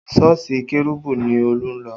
Sọ́ọ̀sì kérúbù ni Olú ń lọ